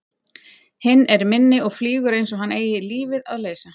Hinn er minni og flýgur einsog hann eigi lífið að leysa.